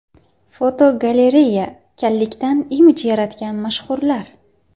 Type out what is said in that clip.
Fotogalereya: Kallikdan imij yaratgan mashhurlar.